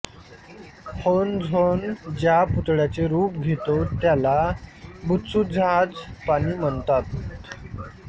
honzon ज्या पुतळ्याचे रूप घेतो त्याला बुत्सुझाजपानी म्हणतात